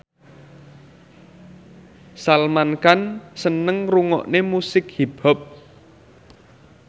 Salman Khan seneng ngrungokne musik hip hop